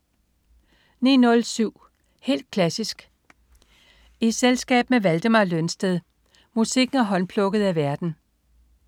09.07 Helt klassisk i selskab med Valdemar Lønsted. Musikken er håndplukket af værten